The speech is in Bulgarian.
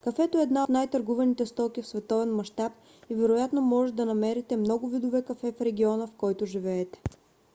кафето е една от най-търгуваните стоки в световен мащаб и вероятно можете да намерите много видове кафе в региона в който живеете